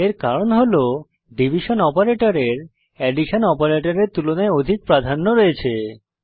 এর কারণ হল ডিভিশন অপারেটরের অ্যাডিশন অপারেটরের তুলনায় অধিক প্রাধান্য রয়েছে